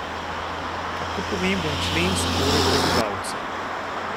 Kako pomemben člen so torej prebivalci?